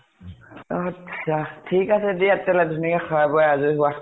আত্ছা, ঠিক আছে দিয়া খোৱাই বোৱাই আজৰি হোৱা।